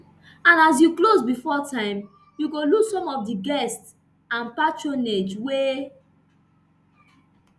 and as you close bifor time you go lose some of di guests and patronage wey